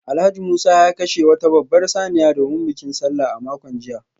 Alhaji Musa ya kashe wata babbar saniya domin bikin Sallah a makon jiya